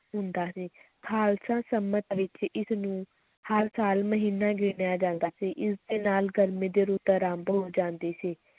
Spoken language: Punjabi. ਹੁੰਦਾ ਸੀ, ਖ਼ਾਲਸਾ ਸੰਮਤ ਵਿੱਚ ਇਸ ਨੂੰ ਹਰ ਸਾਲ ਮਹੀਨਾ ਗਿਣਿਆ ਜਾਂਦਾ ਸੀ, ਇਸ ਦੇ ਨਾਲ ਗਰਮੀ ਦੀ ਰੁੱਤ ਅਰੰਭ ਹੋ ਜਾਂਦੀ ਸੀ,